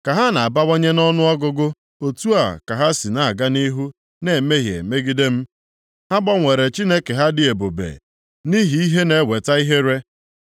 Ka ha + 4:7 Ya bụ, ndị nchụaja na-abawanye nʼọnụọgụgụ, otu a ka ha si na-aga nʼihu na-emehie megide m, ha gbanwere Chineke ha dị ebube nʼihi ihe na-eweta ihere. + 4:7 Akwụkwọ Masori na-ede, nsọpụrụ ha ka m gbanwere ka ọ ghọọ ihere